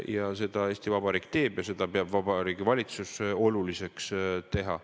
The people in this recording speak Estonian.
Ja seda Eesti Vabariik teeb, seda peab Vabariigi Valitsus oluliseks teha.